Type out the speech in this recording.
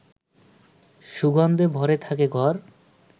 সুগন্ধে ভরে থাকে ঘর